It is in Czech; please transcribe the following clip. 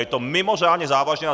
Je to mimořádně závažné.